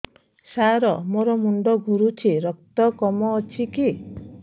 ସାର ମୋର ମୁଣ୍ଡ ଘୁରୁଛି ରକ୍ତ କମ ଅଛି କି